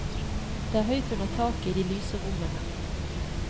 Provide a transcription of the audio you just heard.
Det er høyt under taket i de lyse rommene.